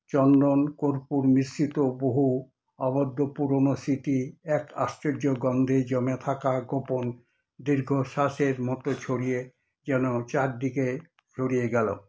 চন্দন কর্পূর মিশ্রিত বহু আবদ্ধ পুরোনো স্মৃতি এক আশ্চর্য গন্ধে জমে থাকা গোপন দীর্ঘশ্বাসের মতো ছড়িয়ে যেন চারিদিকে ছড়িয়ে গেলো।